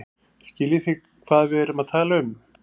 Skiljið þið hvað við erum að tala um.